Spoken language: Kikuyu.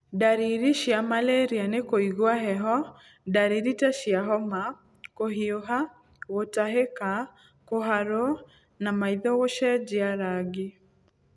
Ndariri cia malaria nĩ kũigua heho, ndariri ta cia homa, kũhiũha, gũtahĩka, kũharwo na maitho gũcenjia rangi.